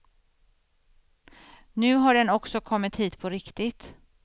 Nu har den också kommit hit på riktigt.